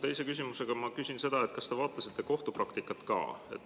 Teise küsimusega ma küsin seda, kas te vaatasite kohtupraktikat ka.